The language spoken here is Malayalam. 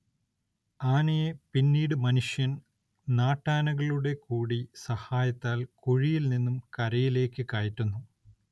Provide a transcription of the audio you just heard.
ആനയെ പിന്നീട് മനുഷ്യൻ നാട്ടാനകളുടെ കൂടി സഹായത്താൽ കുഴിയിൽ നിന്നും കരയിലേക്ക് കയറ്റുന്നു.